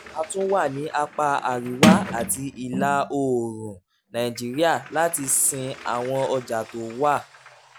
a tún wà ní apá àríwá àti ìlà oòrùn nàìjíríà láti sin àwọn ọjà tó wà